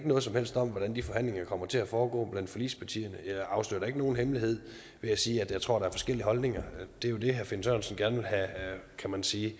noget som helst om hvordan de forhandlinger kommer til at foregå blandt forligspartierne jeg afslører ikke nogen hemmelighed ved at sige at jeg tror er forskellige holdninger det er jo det kan man sige